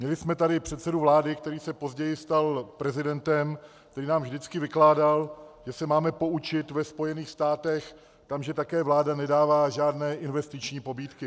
Měli jsme tady předsedu vlády, který se později stal prezidentem, který nám vždycky vykládal, že se máme poučit ve Spojených státech, tam že také vláda nedává žádné investiční pobídky.